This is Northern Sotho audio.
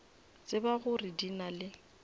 tseba gore di na le